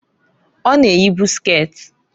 Ọ na eyibu sket.